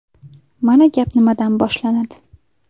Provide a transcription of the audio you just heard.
Mana gap nimadan boshlanadi.